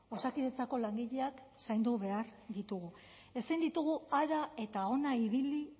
osakidetzako langileak zaindu behar ditugu ezin ditugu hara eta hona ibili